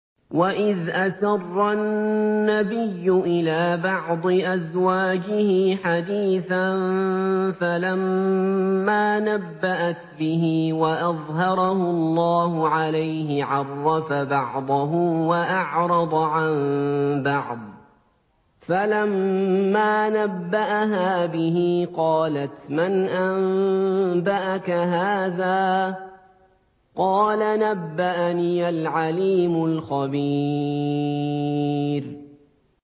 وَإِذْ أَسَرَّ النَّبِيُّ إِلَىٰ بَعْضِ أَزْوَاجِهِ حَدِيثًا فَلَمَّا نَبَّأَتْ بِهِ وَأَظْهَرَهُ اللَّهُ عَلَيْهِ عَرَّفَ بَعْضَهُ وَأَعْرَضَ عَن بَعْضٍ ۖ فَلَمَّا نَبَّأَهَا بِهِ قَالَتْ مَنْ أَنبَأَكَ هَٰذَا ۖ قَالَ نَبَّأَنِيَ الْعَلِيمُ الْخَبِيرُ